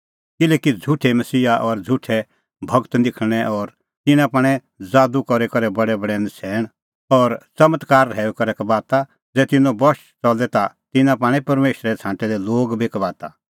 किल्हैकि झ़ुठै मसीहा और झ़ुठै गूर निखल़णैं और तिन्नां पाणै ज़ादू करी करै बडैबडै नछ़ैण और च़मत्कार रहैऊई कबाता ज़ै तिन्नों बश च़ले ता तिन्नां पाणै परमेशरे छ़ांटै दै लोग बी कबाता